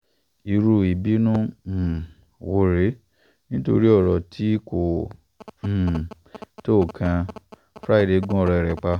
irú ìbùnú um wo rèé nítorí ọ̀rọ̀ tí kò um tó nǹkan fraiday gún ọ̀rẹ́ ẹ̀ pa